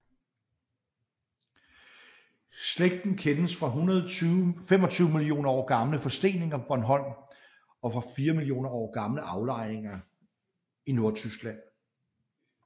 Slægten kendes fra 125 millioner år gamle forsteninger på Bornholm og fra 4 millioner år gamle aflejninger i Nordtyskland